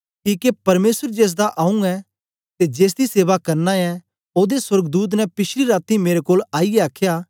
किके परमेसर जेसदा आंऊँ ऐं ते जेसदी सेवा करना ऐ ओदे सोर्गदूत ने पिछली रातीं मेरे कोल आईयै आखया